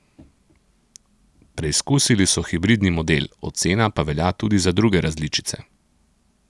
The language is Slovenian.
Preizkusili so hibridni model, ocena pa velja tudi za druge različice.